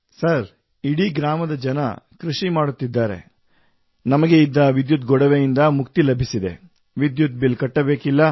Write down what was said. sir ಇಡೀ ಗ್ರಾಮದ ಜನ ಕೃಷಿ ಮಾಡುತ್ತಿದ್ದಾರೆ ನಮಗೆ ಇದ್ದ ವಿದ್ಯುತ್ ಗೊಡವೆಯಿಂದ ಮುಕ್ತಿ ಲಭಿಸಿದೆ ವಿದ್ಯುತ್ ಬಿಲ್ ಕಟ್ಟಬೇಕಿಲ್ಲ